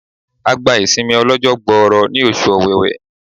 A gba ìsinmi ó lọ́jọ́ gbọọrọ ní oṣù ọ̀wẹ̀wẹ̀.